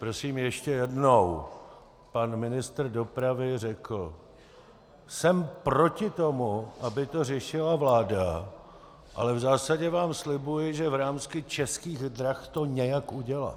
Prosím, ještě jednou, pan ministr dopravy řekl: Jsem proti tomu, aby to řešila vláda, ale v zásadě vám slibuji, že v rámci Českých drah to nějak udělám.